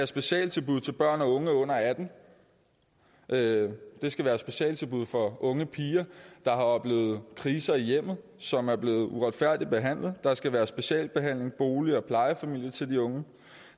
specialtilbud til børn og unge under attende det skal være specialtilbud for unge piger der har oplevet kriser i hjemmet og som er blevet uretfærdigt behandlet der skal være specialbehandling boliger og plejefamilier til de unge